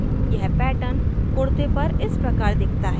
यह pattern kurta पर इस प्रकार दिखता है